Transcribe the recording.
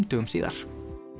dögum síðar